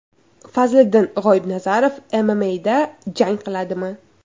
Fazliddin G‘oibnazarov MMA’da jang qiladimi?